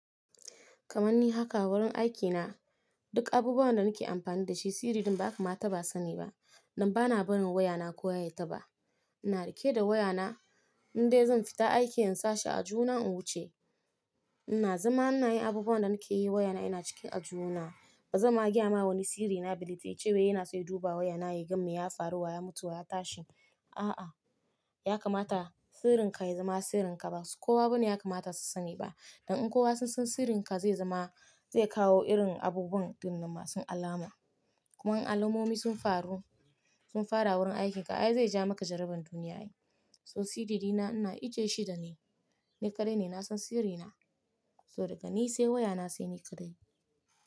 Kamanni haka wurin aikina duk abubuwan da nake amfani da shi sirin din ba kama taba sani ba. Dan bana barin wayana kowa ya taba. Ina rike da wayana in dai zan fita aiki in sashe a aljuhuna in wuce. Ina zama ina yin abubuwan da nake yi wayana yana ciki aljuhuna. Bazan ma gaya ma wani siri na ballantana yace yana son duba wayana yaga me ya faru wa ya mutu wa ya tashi. A'a ya kamata sirrin ka ya zama sirrin ka basu Kowa bane ya kamata su sani ba. Don in kowa sun san sirrin ka zai zama zai kawo irin abubuwan ɗinnan masu alama. Kuma in alamomi sun faru sun fara wurin aikin ka ai zaija maka jaraban duniya. To sirri ɗina ina ajiye shi dani. Ni kaɗai ne nasan sirri na. To daga ni sai wayana sai ni kaɗai.